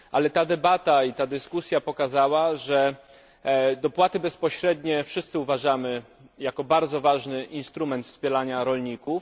Ta debata i ta dyskusja pokazują, że dopłaty bezpośrednie wszyscy uważamy za bardzo ważny instrument wspierania rolników.